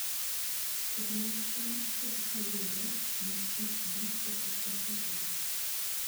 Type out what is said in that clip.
Kodhi mag cham ipogo kaluwore gi kitgi kapok oti kodgi.